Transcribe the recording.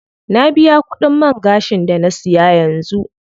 Na biya kudin man gashin da na siya yanzu.